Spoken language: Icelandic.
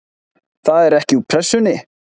Það er ekki úr Pressunni.